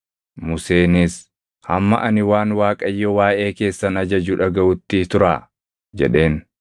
Museenis, “Hamma ani waan Waaqayyo waaʼee keessan ajaju dhagaʼutti turaa” jedheen.